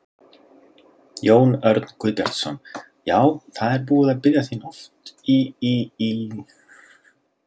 Jón Örn Guðbjartsson: Já, það er búið að biðja þín oft í í í símann?